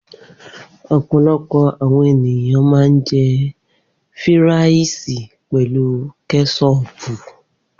Opolopo àwọn ènìyàn ma ń jẹ́ fíràìsì pelu kẹ́sọpù.